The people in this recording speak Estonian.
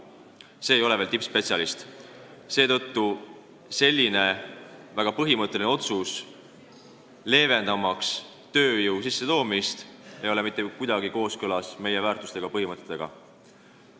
See ei ole veel tingimata tippspetsialist ja selline väga põhimõtteline otsus, mis peab kergendama tööjõu sissetoomist, ei ole mitte kuidagi kooskõlas meie väärtustega, põhimõtetega.